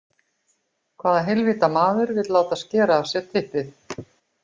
Hvaða heilvita maður vill láta skera af sér typpið?